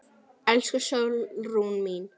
Elsku Sólrún mín.